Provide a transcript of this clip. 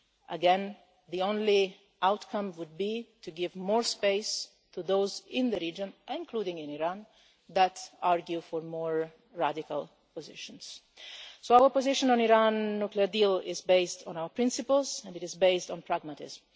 open. Again, the only outcome would be to give more space to those in the region, including in Iran, that argue for more radical positions. Our position on the Iran nuclear deal is based on our principles and it is based on pragmatism.